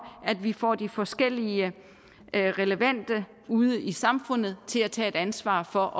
at vi får de forskellige relevante ude i samfundet til at tage et ansvar for